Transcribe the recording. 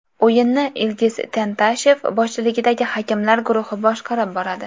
O‘yinni Ilgiz Tantashev boshchiligidagi hakamlar guruhi boshqarib boradi.